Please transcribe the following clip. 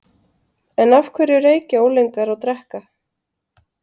En af hverju reykja unglingar og drekka?